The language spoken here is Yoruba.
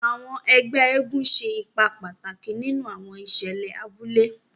Àwọn ègbé eégún ṣe ipá pàtàkì nínú àwọn ìṣẹlẹ abúlé.